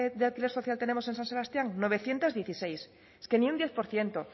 de alquiler social tenemos en san sebastián novecientos dieciséis es que ni un diez por ciento